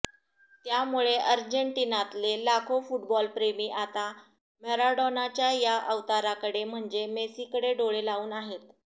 त्यामुळे अर्जेटिनातले लाखो फुटबॉलप्रेमी आता मॅराडोनाच्या या अवताराकडे म्हणजे मेसीकडे डोळे लावून आहेत